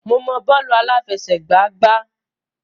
Mo mọ bọ́ọ̀lù àláfẹsẹ̀gbá gbá.